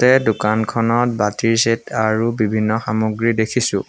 এই দোকানখনত বাতিৰ ছেট আৰু বিভিন্ন সামগ্ৰী দেখিছোঁ।